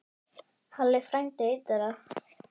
Halli frændi einn þeirra.